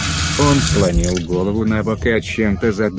он склонил голову набок и о чем-то задумался